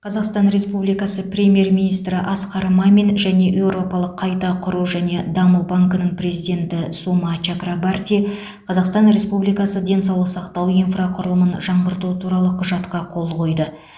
қазақстан республикасы премьер министрі асқар мамин және еуропалық қайта құру және даму банкінің президенті сума чакрабарти қазақстан республикасы денсаулық сақтау инфрақұрылымын жаңғырту туралы құжатқа қол қойды